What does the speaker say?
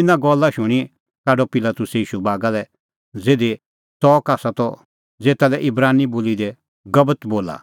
इना गल्ला शूणीं काढअ पिलातुसै ईशू बागा लै ज़िधी च़ऊंरअ त ज़ेता लै इब्रानी बोली दी गब्बतअ बोला